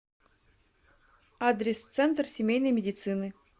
адрес центр семейной медицины